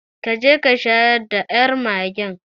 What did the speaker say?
Ka je ka shayar da yar magen